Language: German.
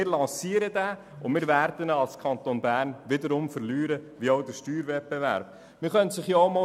Der Kanton Bern wird erneut verlieren, so wie er bereits den Steuerwettbewerb verloren hat.